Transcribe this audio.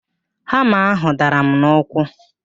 Hama ahụ dara m n'ụkwụ